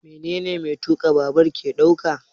Menene mai tuka babur ke daukawa?